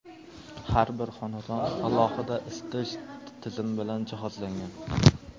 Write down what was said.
Har bir xonadon alohida isitish tizimi bilan jihozlangan.